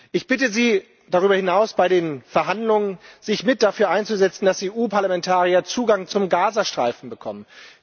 Ich bitte Sie darüber hinaus, sich bei den Verhandlungen dafür einzusetzen, dass die EU Parlamentarier Zugang zum Gazastreifen bekommen.